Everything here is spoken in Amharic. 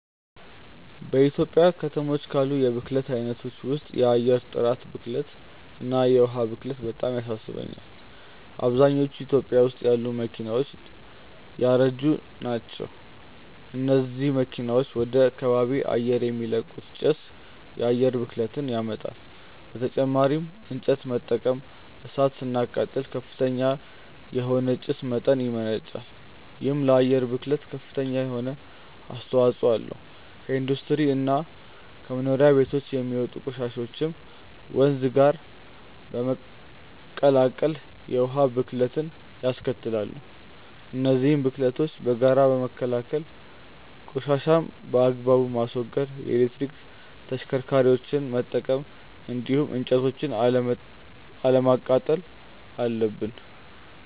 በኢትዮጵያ ከተሞች ካሉ የብክለት አይነቶች ውስጥ የአየር ጥራት ብክለት እና የዉሃ ብክለት በጣም ያሳስቡኛል። አብዛኞቹ ኢትዮጵያ ውስጥ ያሉ መኪናዎች ያረጁ ናቸው። እነዚህ መኪናዎች ወደ ከባቢ አየር የሚለቁት ጭስ የአየር ብክለትን ያመጣል። በተጨማሪም እንጨት በመጠቀም እሳት ስናቃጥል ከፍተኛ የሆነ የጭስ መጠን ያመነጫል። ይሄም ለአየር ብክለት ከፍተኛ የሆነ አስተዋጽኦ አለው። ከኢንዱስትሪ እና ከመኖሪያ ቤቶች የሚወጡ ቆሻሻዎችም ወንዝ ጋር በመቀላቀል የውሃ ብክለትንያስከትላሉ። እነዚህን ብክለቶች በጋራ ለመከላከል ቆሻሻን በአግባቡ ማስወገድ፣ የኤሌክትሪክ ተሽከርካሪዎችን መጠቀም እንዲሁም እንጨቶችን አለማቃጠል አለብን።